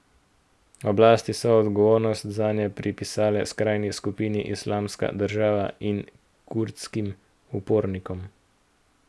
Oblasti so odgovornost zanje pripisale skrajni skupini Islamska država in kurdskim upornikom.